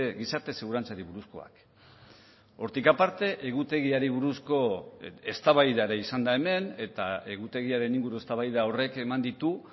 gizarte segurantzari buruzkoak hortik aparte egutegiari buruzko eztabaida ere izan da hemen eta egutegiaren inguru eztabaida horrek eman ditu